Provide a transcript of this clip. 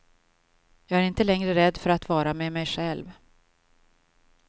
Jag är inte längre rädd för att vara med mig själv.